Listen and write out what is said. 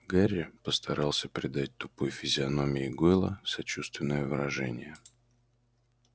гарри постарался придать тупой физиономии гойла сочувственное выражение